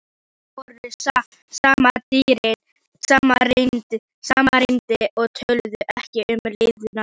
Þau voru samrýnd og töluðu ekki um liðna tíð.